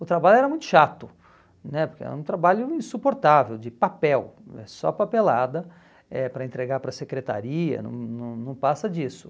O trabalho era muito chato né, porque era um trabalho insuportável, de papel, é só papelada, eh para entregar para a secretaria, não não não passa disso.